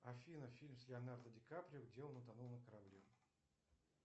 афина фильм с леонардо ди каприо где он утонул на корабле